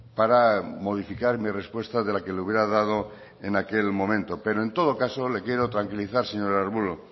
para modificar mi respuesta de la que le hubiera dado en aquel momento pero en todo caso le quiero tranquilizar señor arbulo